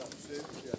Hüseyn burdadır.